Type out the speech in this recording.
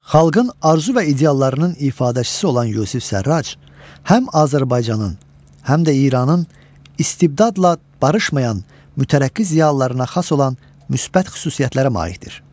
Xalqın arzu və ideallarının ifadəçisi olan Yusif Sərrac, həm Azərbaycanın, həm də İranın istibdadla barışmayan mütərəqqi ziyalılarına xas olan müsbət xüsusiyyətlərə malikdir.